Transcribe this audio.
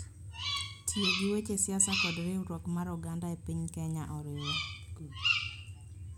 Tiyo gi weche siasa kod riwruok mar oganda e piny Kenya oriwre.